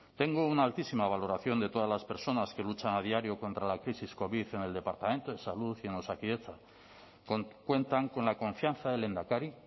tengo una altísima valoración de todas las personas que luchan a diario contra la crisis covid en el departamento de salud y en osakidetza cuentan con la confianza del lehendakari